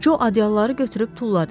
Co ədyalları götürüb tulladı.